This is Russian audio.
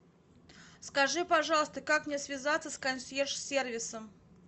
скажи пожалуйста как мне связаться с консьерж сервисом